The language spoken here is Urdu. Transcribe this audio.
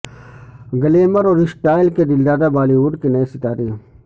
گلیمر اور اسٹائل کے دلدادہ بالی وڈ کے نئے ستارے